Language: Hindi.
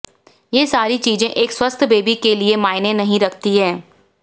ये सारी चीजें एक स्वस्थ बेबी के लिए मायने नहीं रखती हैं